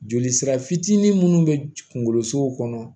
Joli sira fitinin munnu be kunkolosow kɔnɔ